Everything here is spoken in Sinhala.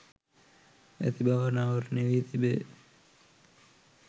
ඇති බව අනාවරණය වී තිබේ.